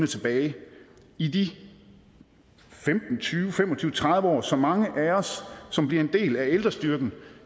tilbage i de femten tyve fem og tyve tredive år som mange af os som bliver en del af ældrestyrken